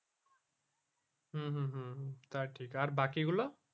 হম হম হম তা ঠিক আর বাকি গুলো